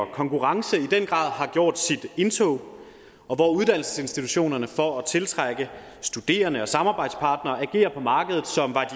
konkurrence i den grad har gjort sit indtog og hvor uddannelsesinstitutionerne for at tiltrække studerende og samarbejdspartnere agerer på markedet som var